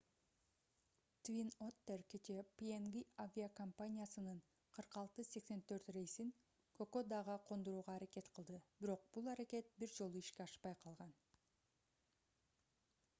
твин оттер кечээ пнг авиакомпаниясынын 4684 рейсин кокодага кондурууга аракет кылды бирок бул аракет бир жолу ишке ашпай калган